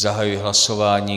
Zahajuji hlasování.